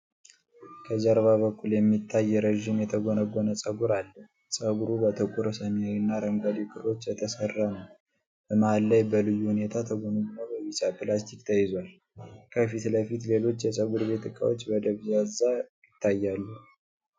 ከጀርባ በኩል የሚታይ ረዥም የተጎነጎነ ጸጉር አለ። ጸጉሩ በጥቁር፣ ሰማያዊና አረንጓዴ ክሮች የተሰራ ነው፣ በመሃል ላይ በልዩ ሁኔታ ተጎንጉኖ በቢጫ ላስቲክ ተይዟል፣ ከፊት ለፊት ሌሎች የጸጉር ቤት እቃዎች በደብዛዛው ይታያሉ።